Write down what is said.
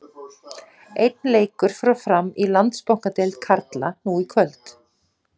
Einn leikur fór fram í Landsbankadeild karla nú í kvöld.